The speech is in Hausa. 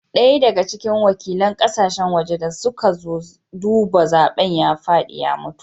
Daya daga cikin wakilan kasashen waje da suka zo duba zaben ya fadi ya mutu